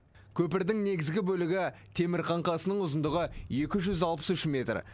көпірдің негізгі бөлігі темір қаңқасының ұзындығы екі жүз алпыс үш метр